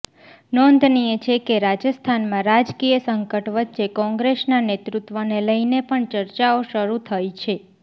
નોંધનીય છે કે રાજસ્થાનમાં રાજકીય સંકટ વચ્ચે કોંગ્રેસના નેતૃત્વને લઈને પણ ચર્ચાઓ શરૂ થઈ છે